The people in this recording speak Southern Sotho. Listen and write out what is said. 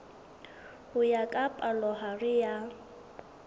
ho ya ka palohare ya